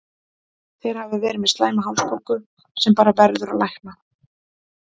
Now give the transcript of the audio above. Þeir hafa verið með slæma hálsbólgu sem bara verður að lækna.